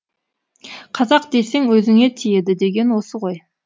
қазақ десең өзіңе тиеді деген осы ғой